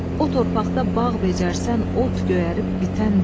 O torpaqda bağ becərsən, ot göyərib bitən deyil.